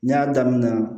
N y'a daminɛ